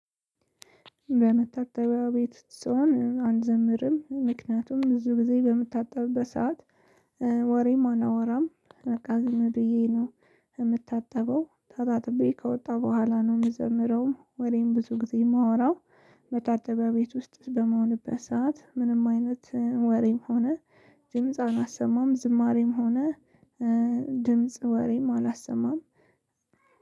በመታጠቢያ ቤት ስሆን አንዘምርም ምክንያቱም ብዙ ጊዜ በምታጠብበት ሰዓት ወሬም አናወራም በቃ ዝም ብዬ ነው። እምታጠበው ታጣጥቤ ከወጣ በኋላ ነው የምዘምረው ወሬም ብዙ ጊዜ የማወራው። መታጠቢያ ቤት ውስጥ በመሆንበት ሰዓት ምንም አይነት ወሬም ሆነ ድምጽ አናሰማም ዝማሬም ሆነ ድምጽ ወሬም አላሰማም።